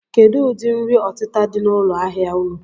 Kedụ ụdị nri ọtịta dị n'ụlọ ahịa unu?